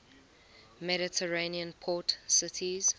mediterranean port cities